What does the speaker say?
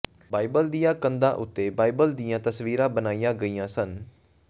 Bible ਦੀਆਂ ਕੰਧਾਂ ਉੱਤੇ ਬਾਈਬਲ ਦੀਆਂ ਤਸਵੀਰਾਂ ਬਣਾਈਆਂ ਗਈਆਂ ਸਨ